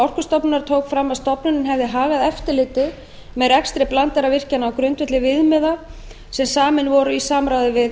orkustofnunar tók fram að stofnunin hefði hagað eftirliti með rekstri blandaðra virkjana á grundvelli viðmiða sem samin voru í samráði við